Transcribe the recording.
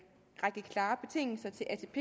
række klare betingelser til atp